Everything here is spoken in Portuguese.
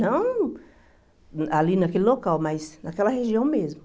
Não ali naquele local, mas naquela região mesmo.